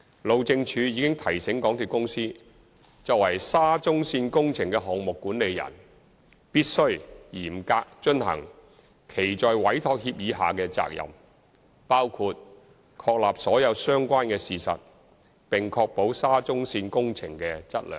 路政署已提醒港鐵公司作為沙中線工程的項目管理人，必須繼續嚴格遵行其在委託協議下的責任，包括確立所有相關的事實，並確保沙中線工程的質量。